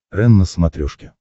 рен на смотрешке